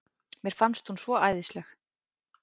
Mér fannst hún svo æðisleg.